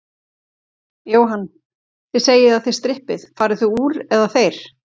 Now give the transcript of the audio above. Jóhann: Þið segið að þið strippið, farið þið úr, eða þeir?